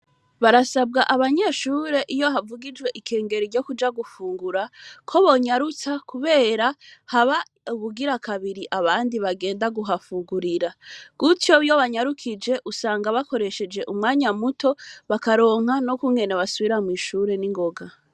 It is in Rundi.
Barasabwa abanyeshure iyo havugijwe ikengero ryo kuja gufungura ko bonyarutsa, kubera haba ubugira kabiri abandi bagenda guhafugurira kutyo iyo banyarukije usanga bakoresheje umwanya muto bakaronka no kunwena basubira mw'ishure n'ingoga.